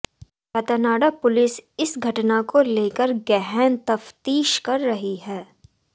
Ratanada police इस घटना को लेकर गहन तफ्तीश कर रही है